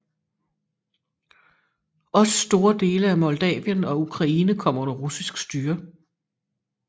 Også store dele af Moldavien og Ukraine kom under russisk styre